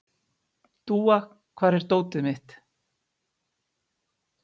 Dúa, hvar er dótið mitt?